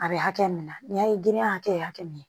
A bɛ hakɛ min na n'i y'a ye gidenya hakɛ min